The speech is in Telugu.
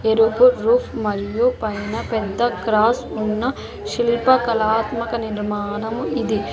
రుబ్బు రూఫ్ మరియు పైన పెద్ద క్రాస్ ఉన్న శిల్పకళాత్మక నిర్మాణం ఇది.